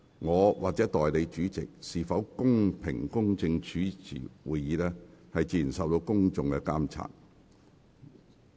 我和代理主席是否公平公正主持會議，受到公眾監察。